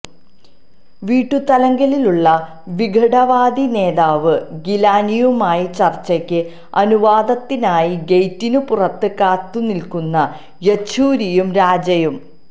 വീട്ടുതടങ്കലിലുള്ള വിഘടനവാദി നേതാവ് ഗീലാനിയുമായി ചര്ച്ചയ്ക്ക് അനുവാദത്തിനായി ഗെയ്റ്റിന് പുറത്ത് കാത്തുനില്ക്കുന്ന യച്ചൂരിയും രാജയും